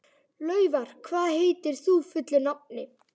Laufar, hvað heitir þú fullu nafni?